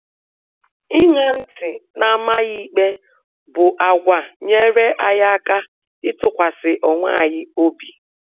Iṅa ntị na amaghị ikpe bụ àgwà nyere anyị aka ịtụkwasị onwe anyị obi